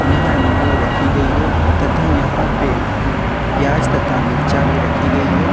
यहां नींबू रखी गई है तथा यहां पे प्याज तथा मिर्चा भी रखी गई है।